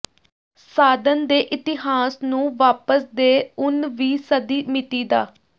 ਸਾਧਨ ਦੇ ਇਤਿਹਾਸ ਨੂੰ ਵਾਪਸ ਦੇਰ ਉਨ ਵੀ ਸਦੀ ਿਮਤੀ ਦਾ